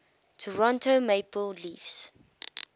toronto maple leafs